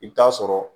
I bɛ taa sɔrɔ